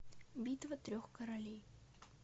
битва трех королей